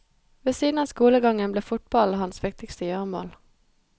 Ved siden av skolegangen ble fotballen hans viktigste gjøremål.